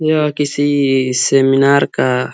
यह किसी सेमिनार का --